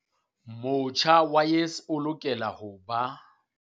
Motjha wa YES o lokela ho ba.